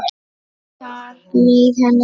Þar leið henni vel.